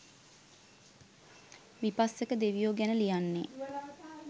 විපස්සක දෙවියෝ ගැන ලියන්නේ.